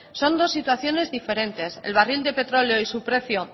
son dos situaciones diferentes el barril de petróleo y su precio